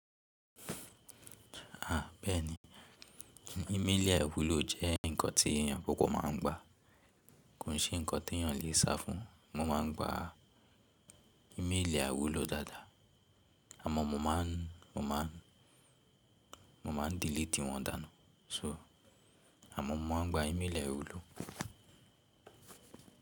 À bẹ́ẹ̀ni, ími le àiwúló jẹ́ ǹkan tí akoko má a ń gba. Kò n se ǹkan tí èyàn lè sá fún un, mo ma ń gba ímelì àiwúló dáadáa, àmọ́ mo ma ń deleti wọ̀n dáńnú. So, àmọ́ mo ma ń gba ímélì àiwúló.